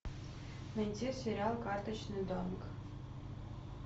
найти сериал карточный домик